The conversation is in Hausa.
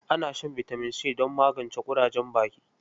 Ana shan bitamin C don magance ƙurajen baki.